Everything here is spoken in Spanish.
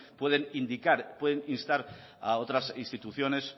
pueden indicar pueden instar a otras instituciones